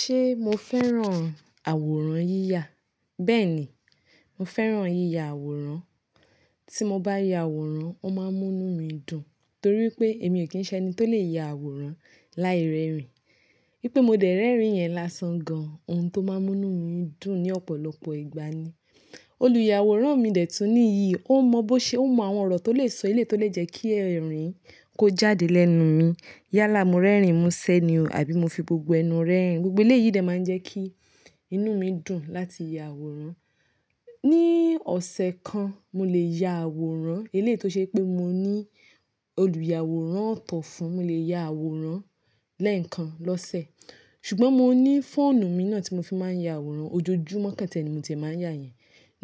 Ṣé mo fẹ́ràn àwòrán yíyà? Bẹ́ẹ̀ ni, mo fẹ́ràn yíyà àwòrán. Tí mo bá ya àwòrán, ó máa ń mú inú mi dùn torí pé èmi ò kí ń ṣẹ́ni tó lè ya àwòrán láì rẹ́rìn-ín. Bí pé mo dẹ̀ rẹ́rìn-ín yẹn lásán gan, ohun tó máa ń mú inú mi dùn ní ọ̀pọ̀lọpọ̀ ìgbà ni. Olùyàwòrán mi dẹ̀ tún ní iyì, ó mọ bó ṣe, ó mọ àwọn ọ̀rọ̀ tó lè sọ eléyi tó lè jẹ́ kí ẹ̀rín kó jáde lẹ́nu mi. Yálà mo rẹ́rìn-ín, mu ṣẹ́ ni o, àbí mo fi gbogbo ẹnu rẹ́rìn-ín, gbogbo eléyìí dẹ̀ máa ń jẹ́ kí inú mi dùn láti ya àwòrán. Ni ọ̀sẹ̀ kan, mo lè ya àwòrán. Eléyi tó ṣe pé mo ní olùyàwòrán ọ̀tọ̀ fún, mo lè ya àwòrán lẹ́ẹ̀kan lọ́sẹ̀. Ṣùgbọ́n mo ní fóònù mi náà tí mo fi máa ń ya àwòrán, ojoojúmọ́ ko ti ee ni mo ti ee máa ń yà yẹn.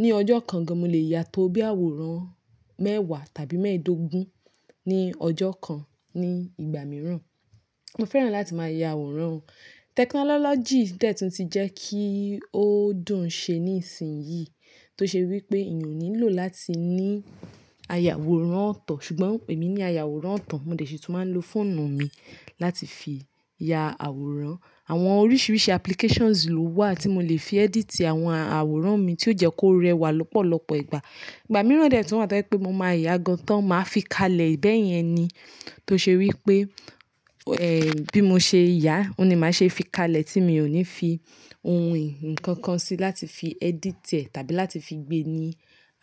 Ni ọjọ́ kan gan, mo lè yà tó bí àwòrán mẹ́wàá tàbí mẹ́ẹ̀ẹ́dógún ní ọjọ́ kan ní ìgbà mìíràn. Mo fẹ́ràn láti máa ya àwòrán. Technology dẹ̀ tún ti jẹ́ kí ó dùn ṣe ní ìsìn yìí tó ṣe wí pé èèyàn ò nílò láti ní aya àwòrán ọ̀tọ̀. Ṣùgbọ́n èmi ní aya àwòrán ọ̀tọ̀, mo dẹ̀ ṣi tún máa ń lò fóònù mi láti fi ya àwòrán. Àwọn oríṣiríṣi applications ló wà tí mo lè fi edit àwọn àwòrán mi tí ó jẹ́ kó rẹwà lọ́pọ̀lọpọ̀ ìgbà. Ìgbà mìíràn dẹ̀ tún wà tó jẹ pé mo máa yà gan tán, máa fi kalẹ̀ bẹ́ẹ̀ yẹn ni tó ṣe wí pé, ẹ́, bí mo ṣe yà òun ni màá ṣe fi kalẹ̀ tí mi ò ní fi ohun ìkankan sí láti fi editẹ̀ tàbí láti fi gbé ní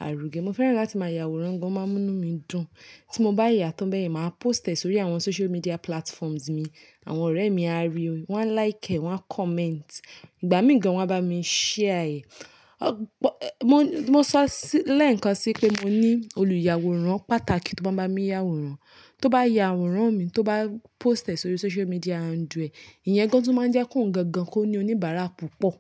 àrugé. Mo fẹ́ràn láti máa ya àwòrán gan, ó máa ń mú inú mi dùn. Tí mo bá yà tán bẹ́ẹ̀, màá post ẹ sórí àwọn social media platforms mi. Àwọn ọ̀rẹ́ mi á ríi, waa n like ẹ́, waa n comment. Ìgbà mìí gan, wọ́n á bá mi share ẹ. Ọ̀, mo, mo sọ sí lẹ́ẹ̀kan sí pé mo ní olùyàwòrán pàtàkì tó máa bá mi ya àwòrán. Tó bá ya àwòrán mi, tó bá post ẹ sórí social media handle ee, ìyẹn gan tún máa ń jẹ́ kí ohun gangan, kó ní oníbàárà púpọ̀.